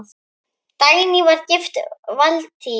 Dagný var gift Valtý.